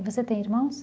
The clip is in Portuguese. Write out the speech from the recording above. E você tem irmãos?